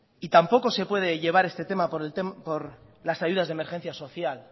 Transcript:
y tampoco se puede llevar este tema por las ayudas de emergencia social